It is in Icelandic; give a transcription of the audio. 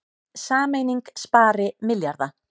Sameining spari milljarða